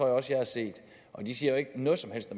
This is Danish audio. også jeg har set og de siger jo ikke noget som helst